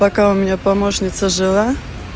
пока у меня помощница жила